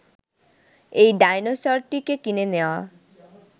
এই ডায়নোসরটিকে কিনে নেয়া